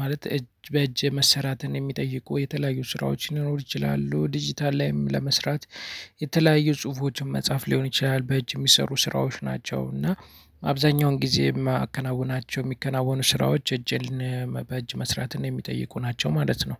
ማለት እጅ በእጅ መሰራትን የሚጠይቁ የተለያዩ ስራዎች ሊኖሩ ይችላሉ። ዲጂታል ላይም ለመስራት የተለያዩ ጽሁፎችን መጻፍ ሊሆን ይችላል በእጅ የሚሰሩ ስራዎች ናቸው። እና አብዛኛውን ጊዜ የማከናውናቸው የሚከናወኑ ስራዎች እጄን በእጅ መስራትን የሚጠይቁ ናቸው። ማለት ነው።